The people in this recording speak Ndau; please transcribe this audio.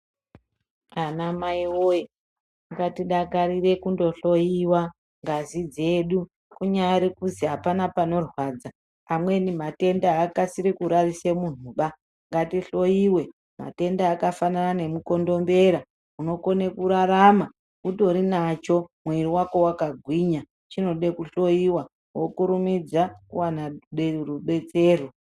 Anamai woye, ngatidakarire kundohloyiwa ngazi dzedu. Kunyari kuzi hapana panorwadza. Amweni matenda haakasiri kurarise munhuba, ngatihloyiwe. Matenda akafanana nemukondombera, unokone kurarama utori nacho, mwiiri wako wakagwinya. Chinode kuhloyiwa, wokurumidza kuwana rubetsero.